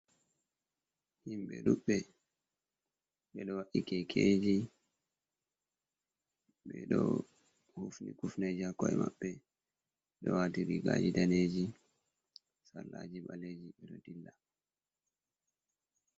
Himbe duɓbe be do wa’i kekeji be do hufni kufneji ha ko’e mabbe do wati rigaji daneji sallaji baleji be do dilla.